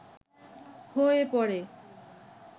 হয়ে পড়ে